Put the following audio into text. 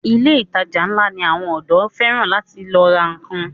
Ilé ìtajà ńlá ni àwọn ọ̀dọ́ fẹ́ràn láti lọ ra nnkan.